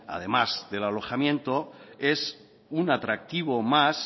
además del alojamiento es un atractivo más